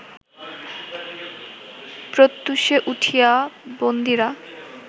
প্রত্যূষে উঠিয়া বন্দীরা